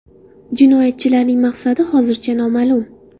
Jinoyatchilarning maqsadi hozircha noma’lum.